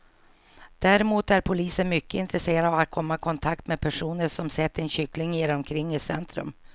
Däremot är polisen mycket intresserad av att komma i kontakt med personer som sett en kyckling irra omkring i centrum.